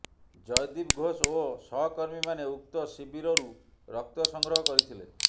ଜୟଦୀପ ଘୋଷ ଓ ସହକର୍ମୀମାନେ ଉକ୍ତ ଶିବିରରୁ ରକ୍ତ ସଂଗ୍ରହ କରିଥିଲେ